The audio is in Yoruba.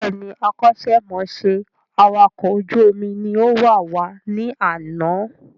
Bẹ́ẹ̀ni, akọ́ṣẹ́ mọṣẹ́ awàkọ̀ ojú omi ni ó wàwá ní àná